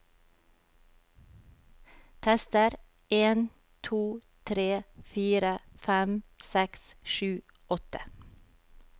Tester en to tre fire fem seks sju åtte